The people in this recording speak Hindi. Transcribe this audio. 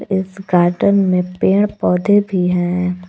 इस गार्डेन में पेड़ पौधे भी हैं।